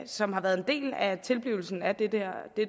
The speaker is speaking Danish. som har været en del af tilblivelsen af dette